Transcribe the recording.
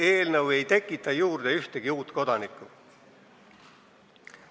See eelnõu ei tekita juurde ühtegi uut kodanikku.